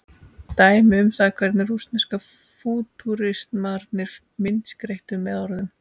dæmi um það hvernig rússnesku fútúristarnir myndskreyttu með orðum